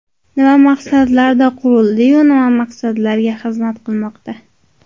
Nima maqsadlarda qurildi-yu, nima maqsadlarga xizmat qilmoqda?